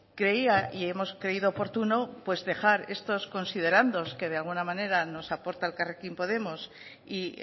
creía y hemos creído oportuno dejar estos considerandos que de alguna manera nos aporta elkarrekin podemos y